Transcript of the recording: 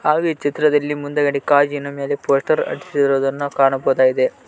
ಹಾಗು ಈ ಚಿತ್ರದಲ್ಲಿ ಮುಂದ್ಗಡೆ ಕಾಜಿನ ಮೇಲೆ ಪೋಸ್ಟರ್ ಹಚ್ಚಿರುವುದನ್ನು ಕಾಣಬಹುದಾಗಿದೆ.